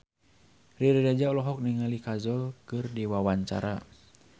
Riri Reza olohok ningali Kajol keur diwawancara